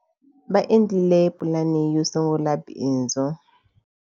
Va endlile pulani yo sungula bindzu.